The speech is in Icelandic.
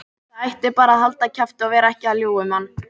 Það ætti bara að halda kjafti og vera ekki að ljúga upp á mann.